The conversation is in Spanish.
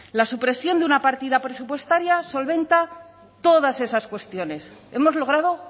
la supresión de una partida presupuestaria solventa todas esas cuestiones hemos logrado